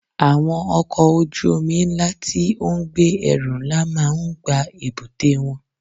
Àwọn ọkọ̀ ojú omi ńlá tí ó ń gbé ẹrù ńlá máa ń gba èbúté wọlé.